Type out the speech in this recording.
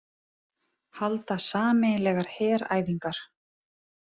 Halda sameiginlegar heræfingar